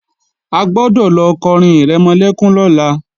A gbọ́dọ̀ lọ kọrin ìrẹmọlẹ́kún lọ́la!